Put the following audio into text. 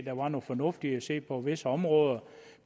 der var noget fornuft i at se på visse områder